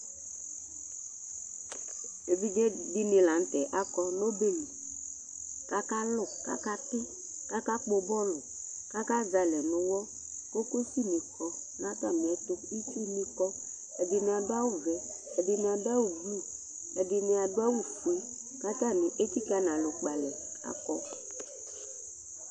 evidze dɩnɩ la nʊtɛ akɔ nʊ ɔbɛ li, akalʊ kʊ akatɩ, kʊ akakpɔ utoku, atanɩ azɛ alɛ nʊ uwɔ, kokosi nɩ kɔ nʊ atmiɛtu, itsu nɩ kɔ, ɛdɩnɩ adʊ awu vɛ, ɛdɩnɩ adʊ awu blu, ɛdɩnɩ adʊ awu fue kʊ atanɩ etsikǝ nʊ alɔ kpe alɛ kakɔ